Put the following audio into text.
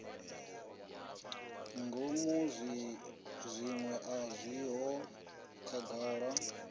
ngomu zwiṅwe a zwiho khagala